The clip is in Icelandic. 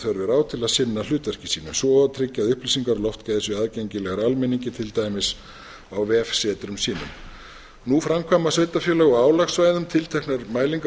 er á til að sinna hlutverki sínu svo og tryggja að upplýsingar um loftgæði séu aðgengilegar almenningi til dæmis á vefsetrum sínum nú framkvæma sveitarfélög á álagssvæðum tilteknar mælingar á loftgæðum